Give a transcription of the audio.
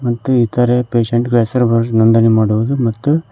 ಹಾಗೂ ಇತರೆ ಪೇಷಂಟ್ಗ ಳ ಹೆಸರು ನೋಂದಣಿ ಮಾಡುವುದು ಹಾಗೂ.